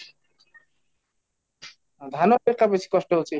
ଧାନ ଟାରେ ବେଶି କଷ୍ଟ ହେଉଛି